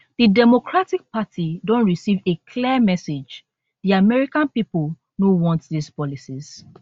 di democratic party don receive a clear message di american pipo no want dis policies